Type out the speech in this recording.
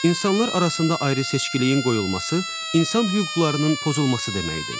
İnsanlar arasında ayrı-seçkiliyin qoyulması insan hüquqlarının pozulması deməkdir.